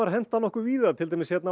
henta víða til dæmis hér á